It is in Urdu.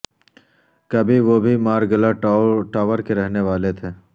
کبھی وہ بھی مارگلہ ٹاور کے رہنے والے تھے